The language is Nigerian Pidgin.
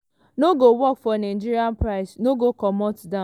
no go work for nigeria price no go come down."